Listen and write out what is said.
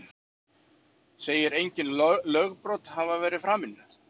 Segir engin lögbrot hafa verið framin